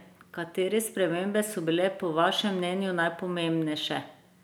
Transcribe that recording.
Katere spremembe so bile po vašem mnenju najpomembnejše?